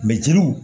jeliw